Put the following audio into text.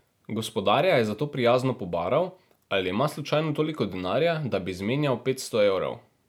Gospodarja je zato prijazno pobaral, ali ima slučajno toliko denarja, da bi zmenjal petsto evrov.